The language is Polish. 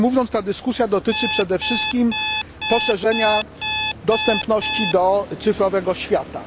Inaczej mówiąc, ta dyskusja dotyczy przede wszystkim poszerzenia dostępności do cyfrowego świata.